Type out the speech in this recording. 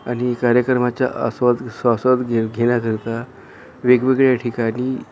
आणि कार्यक्रमाचा आस्वाद स्वासाद घेण्या करता वेगवेगळ्या ठिकाणी माणसं--